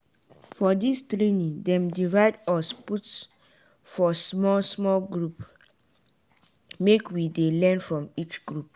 for di training dem divide us put for small small groups make we dey learn from each group.